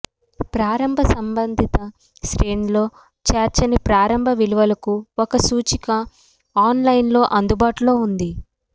ప్రారంభ సంబందిత శ్రేణిలో చేర్చని ప్రారంభ విలువలకు ఒక సూచిక ఆన్ లైన్ లో అందుబాటులో ఉంటుంది